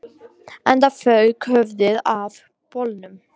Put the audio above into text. Enda fauk höfuðið af bolnum